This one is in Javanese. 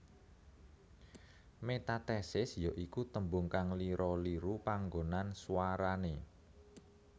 Metathesis ya iku tembung kang lira liru panggonan swarane